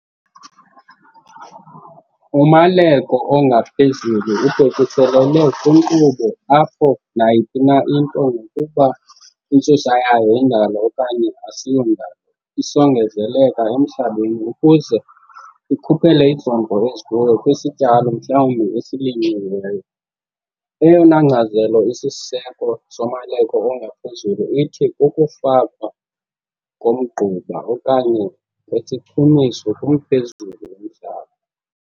Umaleko ongaphezulu ubhekiselele kwinkqubo apho nayiphi into nokuba intsusa yayo yindalo okanye asiyondalo isongezeleleka emhlabeni ukuze ikhuphele izondlo ezikuyo kwisityalo mhlawumbi esilinyiweyo. Eyona nkcazelo isisiseko somaleko ongaphezulu ithi kukufakwa komgquba okanye kwesichumiso kumphezulu womhlaba.